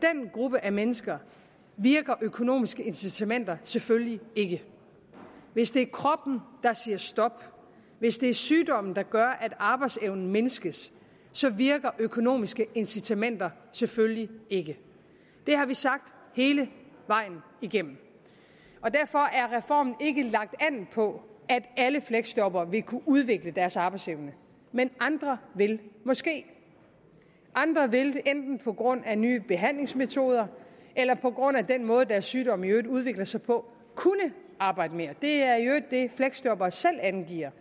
gruppe af mennesker virker økonomiske incitamenter selvfølgelig ikke hvis det er kroppen der siger stop hvis det er sygdomme der gør at arbejdsevnen mindskes virker økonomiske incitamenter selvfølgelig ikke det har vi sagt hele vejen igennem derfor er reformen ikke lagt an på at alle fleksjobbere vil kunne udvikle deres arbejdsevne men andre vil måske andre vil enten på grund af nye behandlingsmetoder eller på grund af den måde deres sygdom i øvrigt udvikler sig på kunne arbejde mere det er i øvrigt det fleksjobbere selv angiver